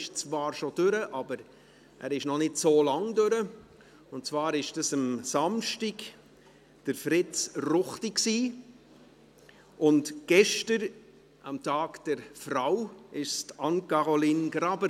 Er ist zwar schon vorbei, aber er ist noch nicht so lange vorbei, und zwar war dies am Samstag Fritz Ruchti, und gestern, am Tag der Frau, war es Anne-Caroline Graber.